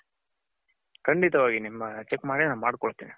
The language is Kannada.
ಖಂಡಿತವಾಗಿ ನಾನು check ಮಾಡಿ ನನ್ ಮಾಡ್ಕೊಡ್ತೀನಿ.